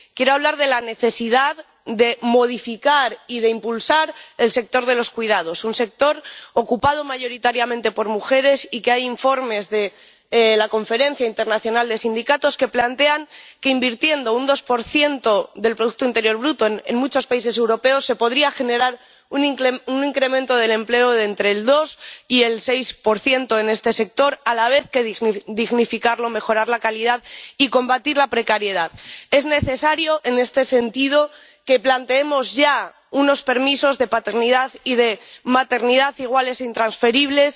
Quiero hablar de la necesidad de modificar y de impulsar el sector de los cuidados, un sector ocupado mayoritariamente por mujeres. Hay informes de la Conferencia Internacional de Sindicatos que plantean que, invirtiendo un 2 del producto interior bruto, en muchos países europeos se podría generar un incremento del empleo de entre el 2 y el 6 en este sector, y a la vez dignificarlo, mejorar la calidad y combatir la precariedad. Es necesario, en este sentido, que planteemos ya unos permisos de paternidad y de maternidad iguales e intransferibles,